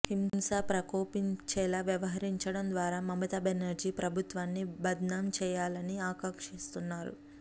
హింస ప్రకోపించేలా వ్యవహరించడం ద్వారా మమతా బెనర్జీ ప్రభుత్వాన్ని బద్నాం చేయాలని ఆకాంక్షిస్తున్నారు